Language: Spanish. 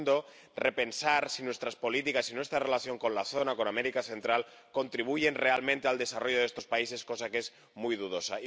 y, en segundo lugar, repensar si nuestras políticas y nuestra relación con la zona —con América Central— contribuyen realmente al desarrollo de estos países, cosa que es muy dudosa.